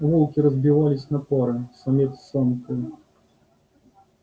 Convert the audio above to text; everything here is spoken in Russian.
волки разбивались на пары самец с самкой